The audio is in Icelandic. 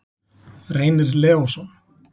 Reynir Leósson.